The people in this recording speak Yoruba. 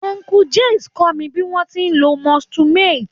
Uncle Jix kọ́ mi bí wọ́n ti ń lo moisture meter.